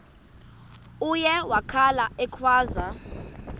uye wakhala ekhwaza